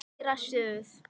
Meira Suð!